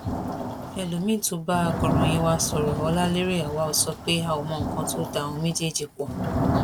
elomiín tó bá akọròyìn wa sọrọ ọláléré awaw sọ pé a ò mọ nǹkan tó da àwọn méjèèjì pọ